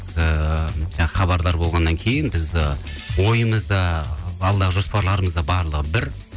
ыыы хабардар болғаннан кейін біз ы ойымыз да алдағы жоспарларымыз да барлығы бір